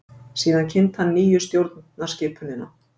Síðan kynnti hann nýju stjórnarskipunina.